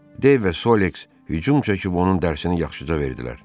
Dev və Solex hücum çəkib onun dərsini yaxşıca verdilər.